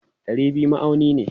Dari biyu ma'auni ne.